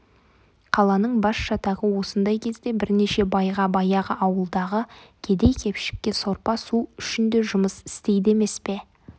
қаланың басжатағы осындай кезде бірнеше байға баяғы ауылдағы кедей-кепшікше сорпа-су үшін де жұмыс істейді емес пе